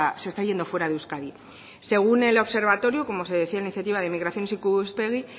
se está yendo fuera de euskadi según el observatorio como se decía en iniciativa de inmigración ikuspegi